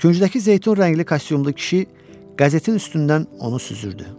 Küngdəki zeytun rəngli kostyumlu kişi qəzetin üstündən onu süzürdü.